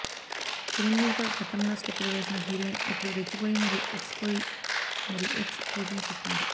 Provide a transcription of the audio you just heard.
చిరంజీవితో గతంలో స్టెప్పులు వేసిన హీరోయిన్ ఇప్పుడు రెచ్చిపోయి మరి ఎక్స్ పోయి మరీ ఎక్స్ పోజింగ్ చేస్తున్నది